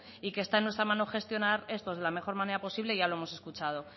y que está en nuestra mano gestionar esto de la mejor manera posible ya lo hemos escuchado